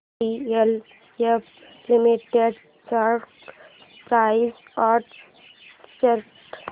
DLF limited stock price and chart